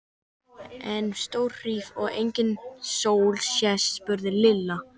En ef stórhríð er og engin sól sést? spurði Lilla.